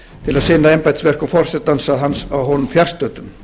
til að sinna embættisverkum forsetans að honum fjarstöddum